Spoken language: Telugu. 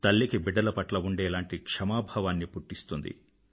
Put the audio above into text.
తల్లికి బిడ్డల పట్ల ఉండేలాంటి క్షమా భావాన్ని పుట్టిస్తుంది